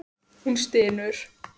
Hún stynur.